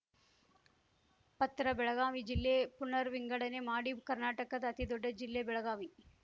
ಪತ್ರ ಬೆಳಗಾವಿ ಜಿಲ್ಲೆ ಪುನರ್‌ ವಿಂಗಡಣೆ ಮಾಡಿ ಕರ್ನಾಟಕದ ಅತಿದೊಡ್ಡ ಜಿಲ್ಲೆ ಬೆಳಗಾವಿ